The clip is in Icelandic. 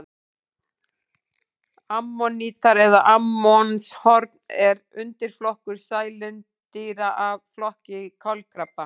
Ammonítar eða ammonshorn er undirflokkur sælindýra af flokki kolkrabba.